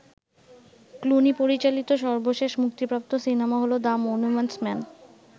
Clooney পরিচালিত সর্বশেষ মুক্তিপ্রাপ্ত সিনেমা হল ‘দ্য মনুমেন্টস মেন’।